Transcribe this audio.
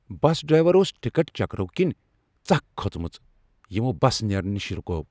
Driver اوس ticket چیکرو كِنۍ ژکھ کٔھژمٕژ یِمو بس نیرنہٕ نشہِ رُکٲو۔